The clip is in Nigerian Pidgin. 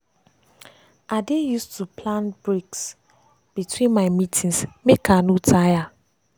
i dey use too plan breaks between my meetings make i no tire.